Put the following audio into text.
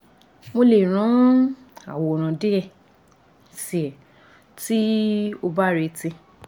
mo le ran aworan die si e ti o ba reti